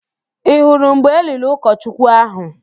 Ị hụrụ mgbe eliri ụkọchukwu ahụ?